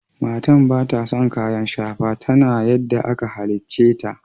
Matan bata son kayan shafa. Tana yadda aka hallice ta.